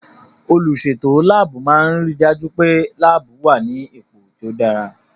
Olùsètò láàbù máa n ri dájú pé láàbù wà ní ipò tó dára